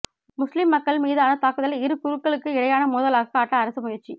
முஸ்லிம் மக்கள் மீதான தாக்குதலை இரு குழுக்களுக்கு இடையிலான மோதலாக காட்ட அரசு முயற்சி